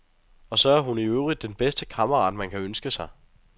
Og så er hun i øvrigt den bedste kammerat, man kan ønske sig.